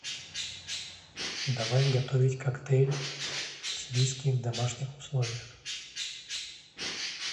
давай готовить коктейль с виски в домашних условиях